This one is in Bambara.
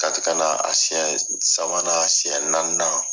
Kati ka na a siɲɛn sabanan a siɲɛnnaaninan